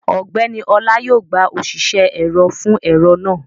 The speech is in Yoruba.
Ọgbẹ́ni Ọlá yóò gba òṣìṣẹ́ ẹ̀rọ fún ẹ̀rọ náà